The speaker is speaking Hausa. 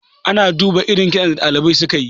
ana duba irin kitson da dalibai suka yi